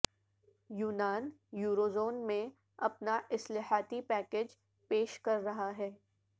یونان یوروزون میں اپنا اصلاحاتی پیکیج پیش کررہا ہے